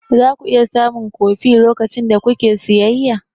Za ku iya samun kofi lokacin da kuke siyayya?